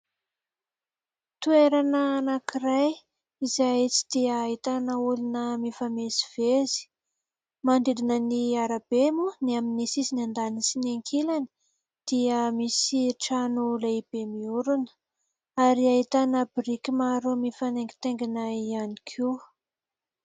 Toerana anankiray izay tsy dia ahitana olona mifamezivezy. Manodidina ny arabe moa ny amin'ny sisiny andaniny sy ny ankilany dia misy trano lehibe miorina ary ahitana biriky maro mifanaingitaingina ihany koa.